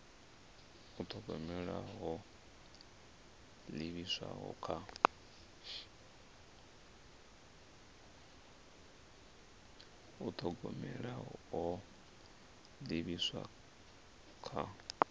u thogomela ho livhiswaho kha